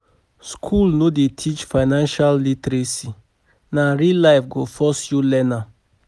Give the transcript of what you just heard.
School no dey teach financial literacy, na real life go force you learn am.